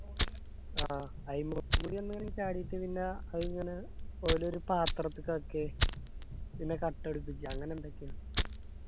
ആ അയിമക്കൂടി ഒന്ന് ചാടിയിട്ട് പിന്നഅത് ഇങ്ങന ഓലൊരു പാത്രത്ക്ക് ആക്കി പിന്നെ കട്ടപിടിപ്പിച്ച് അങ്ങനെ എന്തൊക്കെയോ